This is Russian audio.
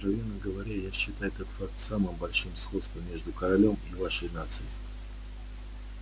откровенно говоря я считаю этот факт самым большим сходством между корелом и вашей нацией